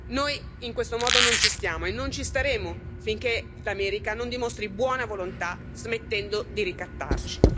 Noi in questo modo non ci stiamo e non ci staremo finché l'America non dimostrerà buona volontà, smettendo di ricattarci.